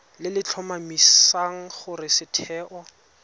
le le tlhomamisang gore setheo